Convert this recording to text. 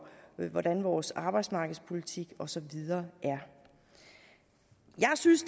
hvordan vores arbejdsmarkedspolitik og så videre er jeg synes